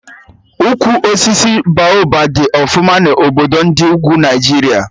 Ukwu osisi Baoba dị ọfụma na obodo ndị ugwu Naijiria